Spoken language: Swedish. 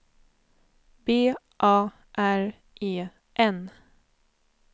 B A R E N